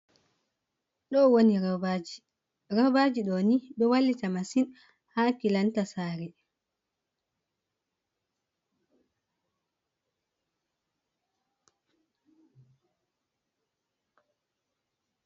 Ɗo woni robaji, robaji ɗoni ɗoo wallita masin ha kilanta sari.